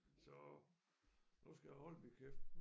Så nu skal jeg holde min kæft